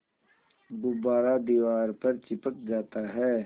गुब्बारा दीवार पर चिपक जाता है